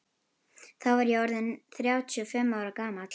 Þá var ég orð inn þrjátíu og fimm ára gamall.